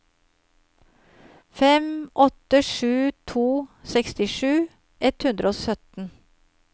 fem åtte sju to sekstisju ett hundre og sytten